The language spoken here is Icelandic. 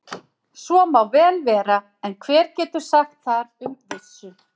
Svo má vel vera, en hver getur sagt þar um með vissu?